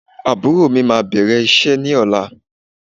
Àbúrò mí máa bẹ̀rẹ̀ iṣẹ́ ní ọ̀la.